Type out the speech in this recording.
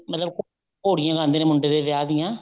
ਮਤਲਬ ਘੋੜੀਆਂ ਗਾਉਂਦੇ ਨੇ ਮੁੰਡੇ ਦੇ ਵਿਆਹ ਦੀਆਂ